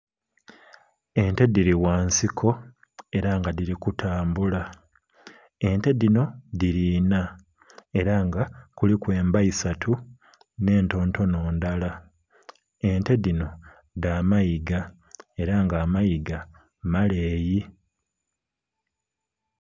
Ente dhiri ghansiko era nga dhiri kutambula, ente dhino dhiri inha era nga kuliku emba isatu n'entontono ndala. Ente dhino dha mayiga era nga amayiga maleyi.